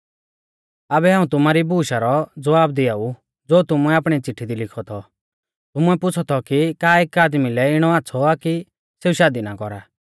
आबै हाऊं तुमारी बुशु रौ ज़वाब दियाऊ ज़ो तुमुऐ आपणी चिट्ठी दी लिखौ थौ तुमुऐ पुछ़ौ थौ कि का एक आदमी लै इणौ आच़्छ़ौ आ कि सेऊ शादी ना कौरा